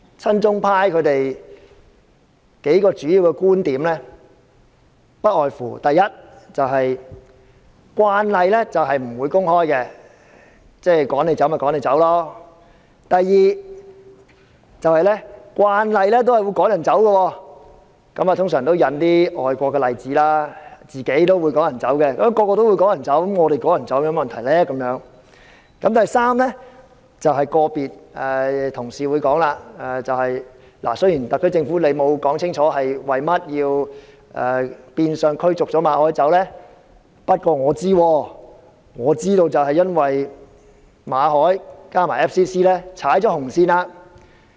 親中派提出數個主要觀點：第一，慣例是不用公開解釋為何要趕走某些人，拒絕他們入境；第二，慣例是趕走某些人時，通常會引述外國例子，說明趕走他們沒有問題；及第三，有同事提到，雖然特區政府沒有解釋為何變相趕走馬凱，我知道原因是馬凱和香港外國記者會踩到紅線。